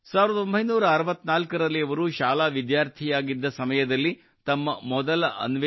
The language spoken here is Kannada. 1964 ರಲ್ಲಿ ಅವರು ಶಾಲಾ ವಿದ್ಯಾರ್ಥಿಯಾಗಿದ್ದ ಸಮಯದಲ್ಲಿ ತಮ್ಮ ಮೊದಲ ಅನ್ವೇಷಣೆ ಮಾಡಿದ್ದರು